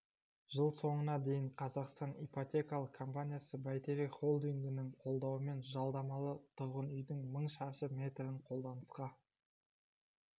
жыл соңына дейін қазақстан ипотекалық компаниясы бәйтерек холдингінің қолдауымен жалдамалы тұрғын үйдің мың шаршы метрін қолданысқа